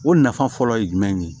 O nafa fɔlɔ ye jumɛn ye